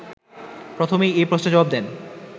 প্রথমেই এ প্রশ্নের জবাব দেন